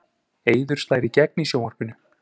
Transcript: Eiður slær í gegn í sjónvarpinu